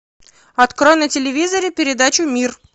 открой на телевизоре передачу мир